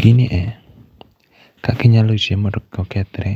Gini e kaka inyalo rite mondo kik okethore,